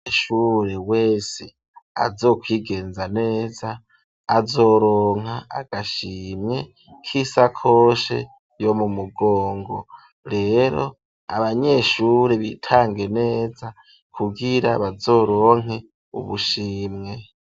Umunyeshure wese azokwigenza neza azoronka agashimye k'isakoshe yo mu mugongo, rero abanyeshure bitange neza kugira bazoronke ubushimwe.